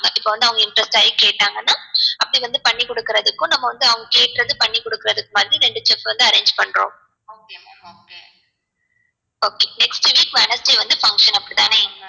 இப்போ வந்து அவங்க impress ஆகி கேட்டாங்கனா அப்டேவந்து பண்ணி குடுக்குறதுக்கும் நம்ம வந்து அவங்க கேக்குறத பண்ணி குடுக்கறதுக்கும் மாதிரி ரெண்டு chef வந்து arrange பண்றோம் okay next week wednesday வந்து function அப்டிதானே